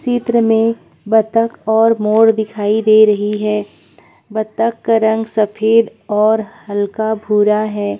चित्र में बतक और मोर दिखाई दे रही है बतक का रंग सफेद और हल्का भूरा है।